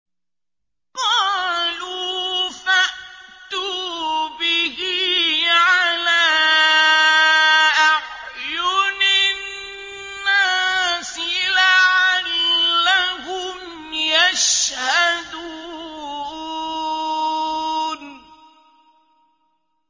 قَالُوا فَأْتُوا بِهِ عَلَىٰ أَعْيُنِ النَّاسِ لَعَلَّهُمْ يَشْهَدُونَ